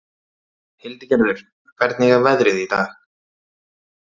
Hildigerður, hvernig er veðrið í dag?